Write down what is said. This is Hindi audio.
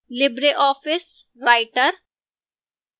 libreoffice writer